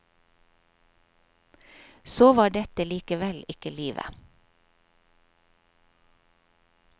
Så var dette likevel ikke livet.